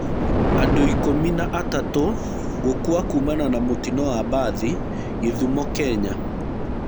Andũikũmi na atatũgũkua kumana na mũtino wa mbathĩ gĩthumo, Kenya.